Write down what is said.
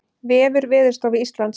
Vefur Veðurstofu Íslands